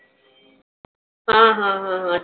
हं हं हं